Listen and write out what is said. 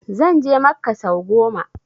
Zan je makka sau goma